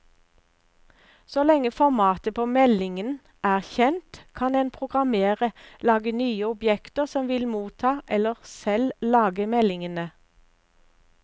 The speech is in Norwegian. Så lenge formatet på meldingen er kjent, kan en programmerer lage nye objekter som vil motta eller selv lage meldingene.